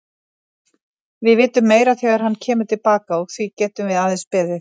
Við vitum meira þegar hann kemur til baka og því getum við aðeins beðið.